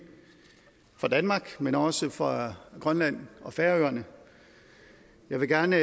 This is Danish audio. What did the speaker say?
for danmark men også for grønland og færøerne jeg vil gerne